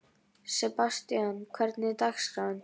Sebastian, hvernig er dagskráin?